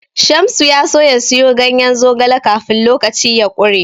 Shamsu ya so ya siyo ganyen zogale kafin lokaci ya ƙure.